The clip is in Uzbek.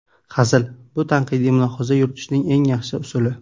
Hazil – bu tanqidiy mulohaza yuritishning eng yaxshi usuli.